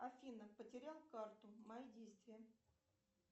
афина потерял карту мои действия